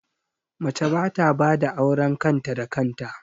Mace ba ta bada auren kan ta da kan ta